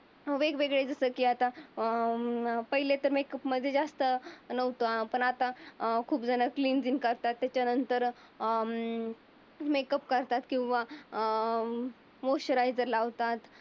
वेगवेगळे जसे की आता अं पहिलीच्या मेकअप मध्ये जास्त नव्हतं. पण आता अं खूप जण क्लीन झील्क करतात. त्याच्यानंतर अं मेकअप करतात किंवा अं मॉइश्चरायझर लावतात.